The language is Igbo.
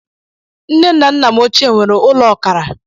Nne na nna m ochie nwere ụlọ ọkara